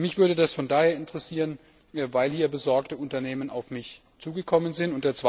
Mich würde das von daher interessieren, weil besorgte Unternehmen auf mich zugekommen sind.